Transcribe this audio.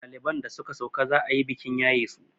ɗaliban da suka sauka za a yi bikin yaye su